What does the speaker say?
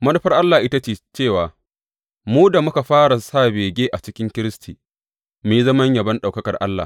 Manufar Allah ita ce cewa mu da muka fara sa bege a cikin Kiristi, mu yi zaman yabon ɗaukakar Allah.